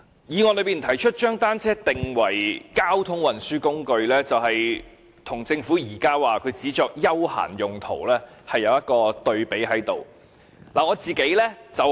議案提出"將單車定為交通運輸工具"，就是與政府現時指它只作休閒用途，作出一個對比。